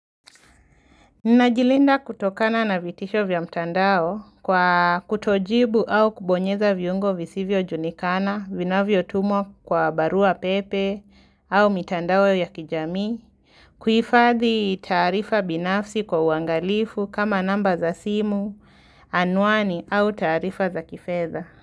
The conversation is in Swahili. Ninajilinda kutokana na vitisho vya mtandao kwa kutojibu au kubonyeza viungo visivyojulikana vinavyotumwa kwa barua pepe au mitandao ya kijamii. Kuhifadhi taarifa binafsi kwa uangalifu kama namba za simu, anwani au tarifa za kifedha.